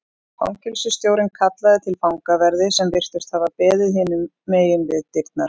Fangelsisstjórinn kallaði til fangaverði sem virtust hafa beðið hinum megin við dyrnar.